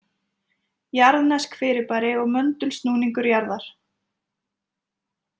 Jarðnesk fyrirbæri og möndulsnúningur jarðar